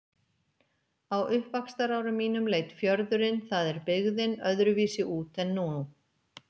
Á uppvaxtarárum mínum leit fjörðurinn- það er byggðin- öðruvísi út en nú.